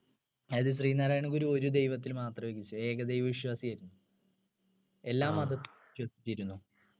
അത് ശ്രീനാരായണഗുരു ഒരു ദൈവത്തിൽ മാത്രമേ വിശ്വസിച്ചിരുന്നു ഏക ദൈവ വിശ്വാസി ആയിരുന്നു എല്ലാ മതത്തെയും വിശ്വസിച്ചിരുന്നു